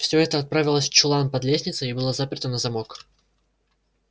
всё это отправилось в чулан под лестницей и было заперто на замок